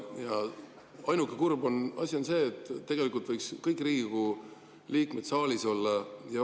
Ainuke kurb asi on see, et tegelikult võiksid kõik Riigikogu liikmed saalis olla.